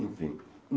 Enfim.